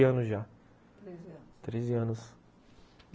treze anos já, treze anos, treze anos!